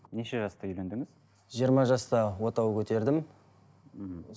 неше жаста үйлендіңіз жиырма жаста отау көтердім мхм